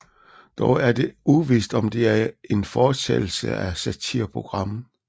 Dog er det uvist om det er en fortsættelse af satireprogrammet